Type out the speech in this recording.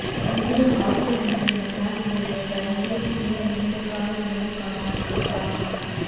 இந்திய ஹாக்கி அணியின் முன்னாள் வீரர் பல்பீர் சிங் நீண்டகால நோய் காரணமாக காலமானார்